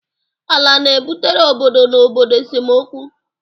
Ala na-ebutere obodo na obodo esemokwu.